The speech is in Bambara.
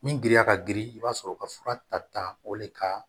Min girinya ka girin i b'a sɔrɔ ka fura ta o de ka